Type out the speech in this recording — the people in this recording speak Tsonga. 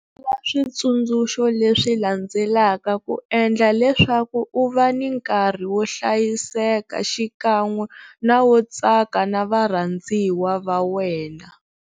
Landzelela switsundzuxo leswi landzelaka ku endlela leswaku u va ni nkarhi wo hlayiseka xikan'we na wo tsaka na varhandziwa va wena.